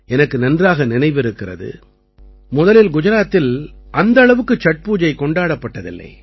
எனக்கு நன்றாக நினைவிருக்கிறது முதலில் குஜராத்தில் அந்த அளவுக்கு சட் பூஜை கொண்டாடப்பட்டதில்லை